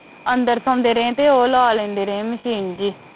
ਅੰਦਰ ਸੋਂਦੇ ਰਹੇ ਤੇ ਉਹ ਲਵਾ ਲਂਦੇ ਰਹੇ ਤੇ ਉਹ ਲਵਾ ਲਂਦੇ ਰਹੇ ਮਸ਼ੀਨ ਜੀ